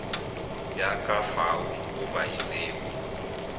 ya ka fao o badilego